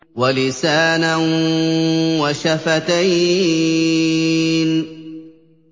وَلِسَانًا وَشَفَتَيْنِ